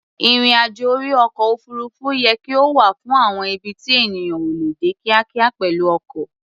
Ìrìn-àjò orí ọkọ̀-òfuurufú yẹ kí ó wà fún àwọn ibi tí ènìyàn ò lè dé kíákíá pẹ̀lú ọkọ̀.